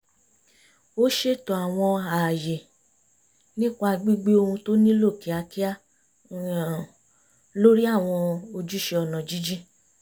ó ṣètò àwọn ààyè nípa gbígbé ohun tó nílò kíákíá lórí àwọn ojúṣe ọ̀nà jínjìn